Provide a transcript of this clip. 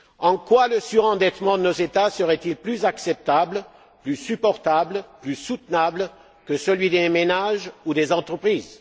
En quoi le surendettement de nos États serait il plus acceptable, plus supportable, plus soutenable que celui des ménages ou des entreprises?